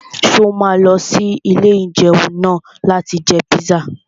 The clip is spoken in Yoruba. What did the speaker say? Ṣé o máa lọ sí ilé-ìjẹun náà láti jẹ píṣà?